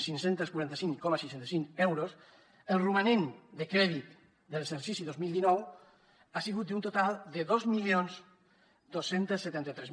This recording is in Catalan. cinc cents i quaranta cinc coma seixanta cinc euros el romanent de crèdit de l’exercici dos mil dinou ha sigut d’un total de dos mil dos cents i setanta tres